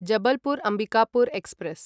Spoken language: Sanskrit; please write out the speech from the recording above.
जबलपुर् अम्बिकापुर् एक्स्प्रेस्